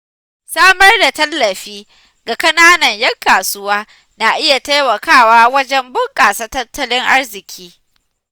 Samar da tallafi ga ƙananan ‘yan kasuwa na iya taimakawa wajen bunƙasa tattalin arziƙi.